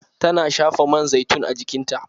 Tana shafa man zaitun a jikinta